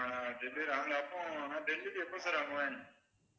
நான் delivery அப்போ நான் delivery எப்போ sir வாங்குவேன்